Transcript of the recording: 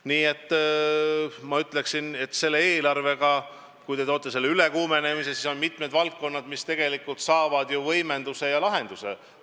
Nii et ma ütleksin, et selle eelarvega, kui te toote selle ülekuumenemise, siis on mitmed valdkonnad, mis tegelikult saavad ju võimenduse ja lahenduse.